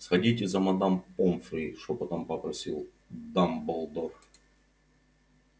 сходите за мадам помфри шёпотом попросил дамблдор